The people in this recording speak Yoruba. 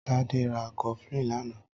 Tade rà kọflin lànã